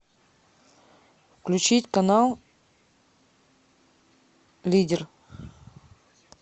включить канал лидер